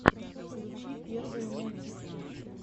включи первые мультики